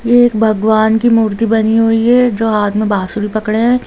यह एक भगवान की मूर्ति बनी हुई है जो हाथ में बांसुरी पकड़े हुए है।